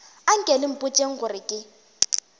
anke le mpotšeng gore ke